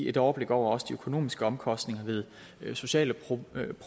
et overblik over også de økonomiske omkostninger ved sociale problemer